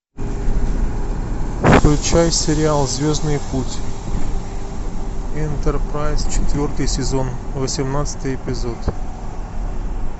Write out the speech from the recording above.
включай сериал звездный путь энтерпрайз четвертый сезон восемнадцатый эпизод